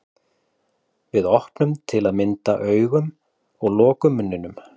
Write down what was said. Við opnum til að mynda augun og lokum munninum.